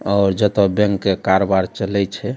और ज ता बैंक के कारोबार चलेय छय --